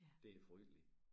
Det frygteligt